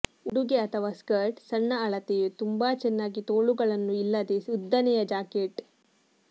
ಉಡುಗೆ ಅಥವಾ ಸ್ಕರ್ಟ್ ಸಣ್ಣ ಅಳತೆಯು ತುಂಬಾ ಚೆನ್ನಾಗಿ ತೋಳುಗಳನ್ನು ಇಲ್ಲದೆ ಉದ್ದನೆಯ ಜಾಕೆಟ್